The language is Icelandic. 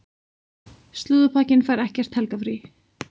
Slúðurpakkinn fær ekkert helgarfrí.